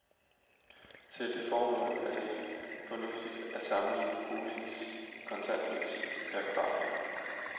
Til det formål er det fornuftigt at sammenligne boligens kontantpris per kvadratmeter.